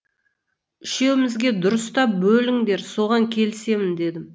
үшеумізге дұрыстап бөліңдер соған келісемін дедім